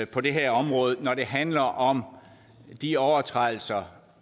på det her område når det handler om de overtrædelser